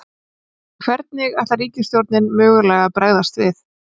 Hvernig ætlar ríkisstjórnin mögulega að bregðast við?